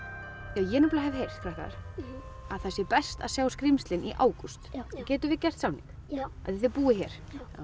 ég hef heyrt að sé best að sjá skrímslin í ágúst nú getum við gert samning af því þið búið hér